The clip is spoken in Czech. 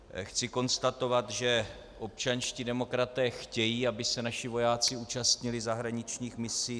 Chci konstatovat, že občanští demokraté chtějí, aby se naši vojáci účastnili zahraničních misí.